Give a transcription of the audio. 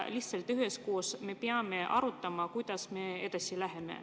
Lihtsalt me peame üheskoos arutama, kuidas me edasi läheme.